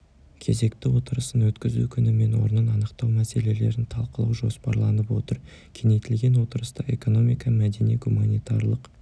кезекті отырысын өткізу күні мен орнын анықтау мәселелерін талқылау жоспарланып отыр кеңейтілген отырыста экономика мәдени-гуманитарлық